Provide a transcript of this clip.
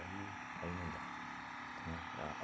aí não dá, tá? É